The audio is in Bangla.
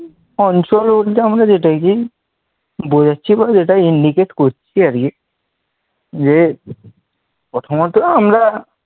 অঞ্চল বলতে আমাদের এটাকেই বোঝাচ্ছে বা যেটাই indicate করছি আর কি যে প্রথমত আমরা